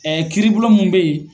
Ɛɛ kiribubon mun be yen